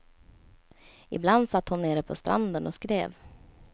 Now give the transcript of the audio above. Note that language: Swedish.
Ibland satt hon nere på stranden och skrev.